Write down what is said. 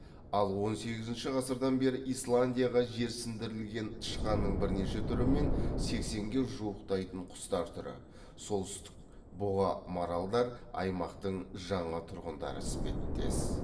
ал он сегізінші ғасырдан бері исландияға жерсіндірілген тышқанның бірнеше түрі мен сексенге жуықтайтын құстар түрі солтүстік бұғы маралдар аймақтың жаңа тұрғындары іспеттес